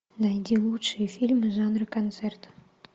найди лучшие фильмы жанра концерт